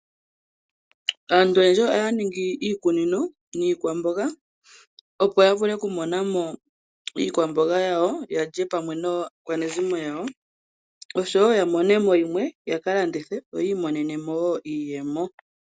Aantu oyendji oya ningi iikunino niikwamboga opo ya vule oku monamo iikwamboga yawo yalye pamwe naakwanezimo yawo oshowo ya monemo yimwe yaka landithe yo yiimonenemo woo iiyemo.